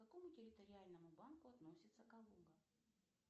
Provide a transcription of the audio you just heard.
к какому территориальному банку относится калуга